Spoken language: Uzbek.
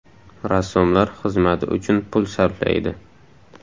Rassomlar xizmati uchun pul sarflaydi.